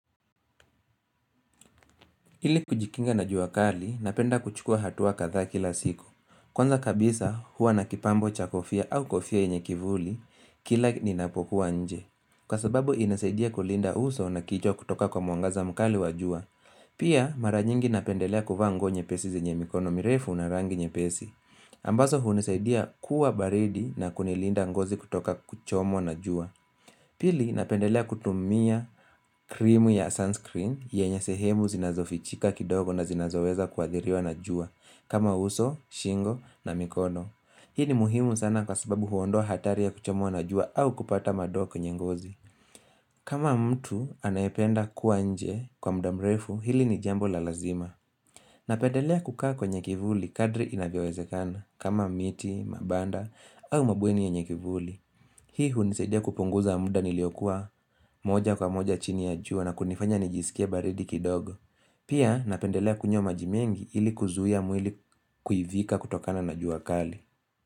Ili kujikinga na jua kali, napenda kuchukua hatua kadhaa kila siku. Kwanza kabisa, huwa na kipambo cha kofia au kofia yenye kivuli, kila ninapokuwa nje. Kwa sababu, inasaidia kulinda uso na kichwa kutoka kwa mwanagaza mkali wa jua. Pia, mara nyingi napendelea kuvaa nguo nyepesi zenye mikono mirefu na rangi nye pesi. Ambazo hunisaidia kuwa baridi na kunilinda ngozi kutoka kuchomwa na jua. Pili napendelea kutumia krimu ya sunscreen yenye sehemu zinazofichika kidogo na zinazoweza kwa athiriwa na jua kama uso, shingo na mikono. Hii ni muhimu sana kwa sababu huondoa hatari ya kuchomwa na jua au kupata madoa kwenye ngozi. Kama mtu anayependa kuanje kwa muda mrefu hili ni jambo la lazima. Napendelea kukaa kwa kivuli kadri inavyowezekana. Kama miti, mabanda au mabweni yenye kivuli Hii hunisaidia kupunguza muda niliokuwa moja kwa moja chini ya jua na kunifanya nijisike baridi kidogo. Pia napendelea kunywa maji mengi ili kuzuia mwili kuivika kutokana na jua kali.